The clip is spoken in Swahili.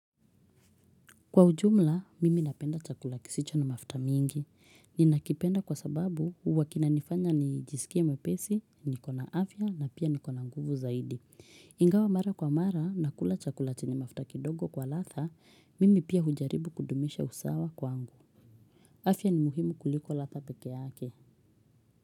Kwa ujumla, mimi napenda chakula kisicho na mafuta mingi. Ninakipenda kwa sababu huwa kinanifanya nijisikie mwepesi, niko na afya na pia niko na nguvu zaidi. Ingawa mara kwa mara nakula chakula chenye mafuta kidogo kwa ladha, mimi pia hujaribu kudumisha usawa kwangu. Afya ni muhimu kuliko ladha peke yake.